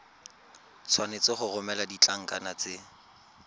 tshwanetse go romela ditlankana tse